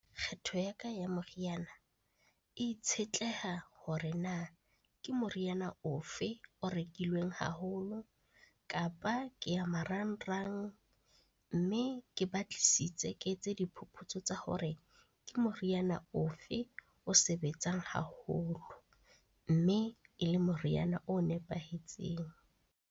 Kgetho ya ka ya moriana e itshetleha hore na ke moriana ofe o rekilweng haholo? Kapa ke ya marangrang, mme ke ba tlisitse, ke etse diphuputso tsa hore ke moriana ofe o sebetsang haholo mme e le moriana o nepahetseng.